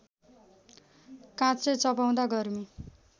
काँचै चपाउँदा गर्मी